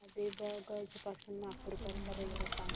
हबीबगंज पासून नागपूर करीता रेल्वे सांगा